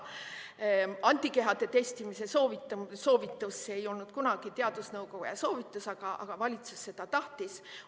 Antikehade testimise soovitus ei olnud kunagi teadusnõukoja soovitus, aga valitsus tahtis seda.